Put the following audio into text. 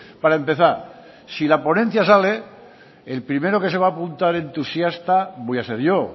para empezar si la ponencia sale el primero que se va apuntar entusiasta voy a ser yo